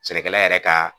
Sɛnɛkɛla yɛrɛ ka